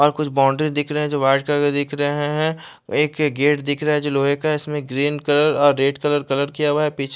और कुछ बाउंड्री दिख रही है जो वाइट कलर दिख रहे है एक गेट दिख रहा है जो लोहे का है इसमें ग्रीन कलर और रेड कलर कलर किया हुआ है पीछे --